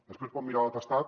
després pot mirar l’atestat